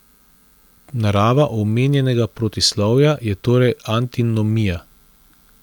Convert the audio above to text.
Narava omenjenega protislovja je torej antinomija.